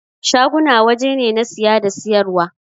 Shaguna waje ne na siya da siyar wa.